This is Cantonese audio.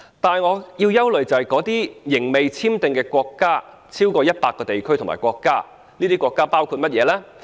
但是，我們憂慮的是那些仍未簽訂協定的國家及地區有超過100個，當中包括甚麼國家呢？